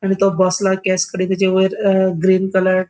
आणि तो बसला केस काडीत ताजे वयर अ ग्रीन कलर --